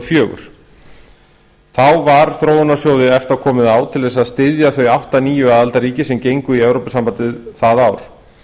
fjögur þá var þróunarsjóði efta komið á til þess að styðja þau átta nýju aðildarríkin sem gengu í evrópusambandið það ár